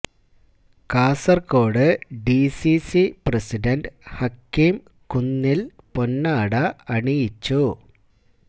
Kasaragod D C C president Hakeem Kunnil പൊന്നാട അണിയിച്ചു